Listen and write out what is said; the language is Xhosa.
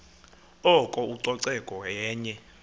oko ucoceko yenye